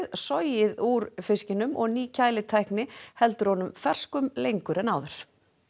sogið úr fiskinum og ný kælitækni heldur honum ferskum lengur en áður